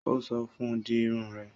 Ó sọ fún un; di Irun rẹ